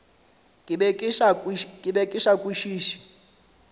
ke be ke sa kwešiše